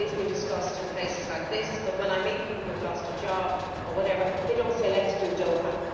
It is being discussed in places like this, but when I meet people who have lost a job, for example, they do not say, Let's do Doha'.